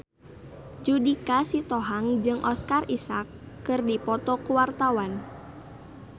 Judika Sitohang jeung Oscar Isaac keur dipoto ku wartawan